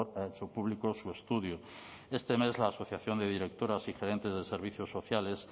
ha hecho público su estudio este mes la asociación de directoras y gerentes de servicios sociales